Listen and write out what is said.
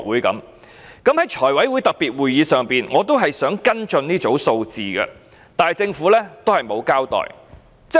在財務委員會特別會議上，我仍想跟進這組數字，但政府沒有交代。